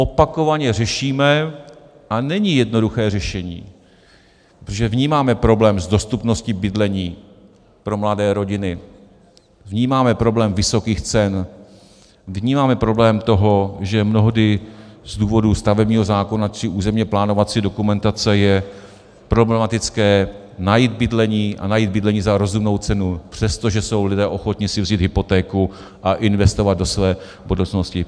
Opakovaně řešíme - a není jednoduché řešení, protože vnímáme problém s dostupností bydlení pro mladé rodiny, vnímáme problém vysokých cen, vnímáme problém toho, že mnohdy z důvodu stavebního zákona či územně plánovací dokumentace je problematické najít bydlení, a najít bydlení za rozumnou cenu, přestože jsou lidé ochotni si vzít hypotéku a investovat do své budoucnosti.